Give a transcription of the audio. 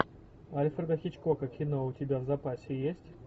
альфреда хичкока кино у тебя в запасе есть